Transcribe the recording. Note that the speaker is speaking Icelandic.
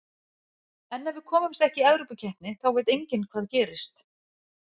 En ef við komumst ekki í Evrópukeppni þá veit enginn hvað gerist.